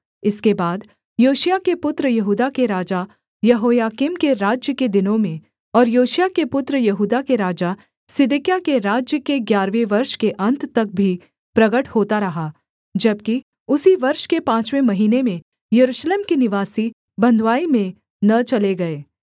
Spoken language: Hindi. इसके बाद योशिय्याह के पुत्र यहूदा के राजा यहोयाकीम के राज्य के दिनों में और योशिय्याह के पुत्र यहूदा के राजा सिदकिय्याह के राज्य के ग्यारहवें वर्ष के अन्त तक भी प्रगट होता रहा जबकि उसी वर्ष के पाँचवें महीने में यरूशलेम के निवासी बँधुआई में न चले गए